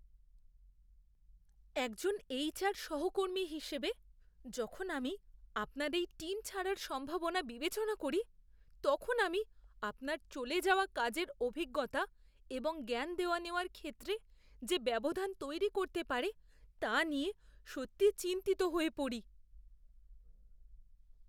একজন এইচআর সহকর্মী হিসেবে, যখন আমি আপনার এই টিম ছাড়ার সম্ভাবনাটা বিবেচনা করি, তখন আমি আপনার চলে যাওয়া কাজের অভিজ্ঞতা এবং জ্ঞান দেওয়া নেওয়ার ক্ষেত্রে যে ব্যবধান তৈরি করতে পারে তা নিয়ে সত্যিই চিন্তিত হয়ে পড়ি।